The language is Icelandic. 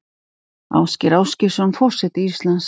Ásgeir Ásgeirsson forseti Íslands